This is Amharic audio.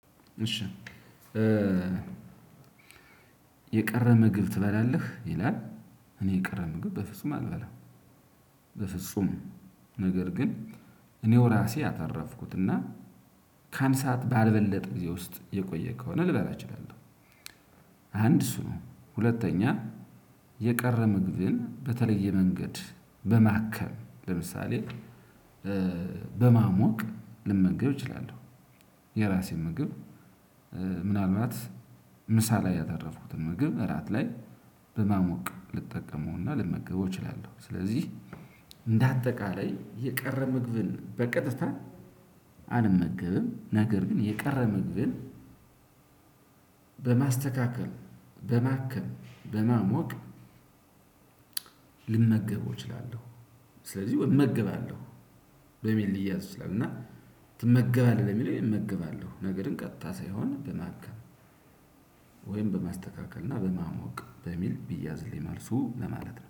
እሺ የቀረ ምግብ ትበላለህ ይላል እኔ የቀረ ምግብ በፍጹም አልበላም። በፍጹም ነገር ግን እኔው ራሴ ያተረፍኩትና ከአንድ ሰዓት ባልበለጠ ጊዜ ውስጥ የቆየ ከሆነ ልበላ እችላለሁ። አንድ እሱ ነው ሁለተኛ የቀረ ምግብን በተለየ መንገድ በማከም ለምሳሌ በማሞቅ ልመገብ እችላለሁ። የራሴን ምግብ ምንአልባት ምሳ ላይ ያተረፍኩትን ምግብ እራት ላይ በማሞቅ ልመገብ እችላለሁ። ስለዚህ እንደአጠቃላይ የቀረ ምግብን በቀጥታ አልመገብም። ነገር ግን የቀረ ምግብን በማስተካከል በማከም በማሞቅ ልመገበው እችላለሁ። ስለዚህ እመገባለሁ በሚል ሊያዝ ይችላል። እና ትመገባለህ ለሚል እመግባለሁ ነገር ግን ቀጥታ ሳይሆን በማከም። ወይም በማስተካከል እና በማሞቅ በሚል ቢያዝልኝ መልሱ ለማለት ነው